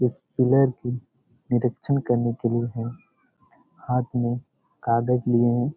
इस पिलर की निरीक्षण करने के लिए है हाथ में कागज लिये हैं।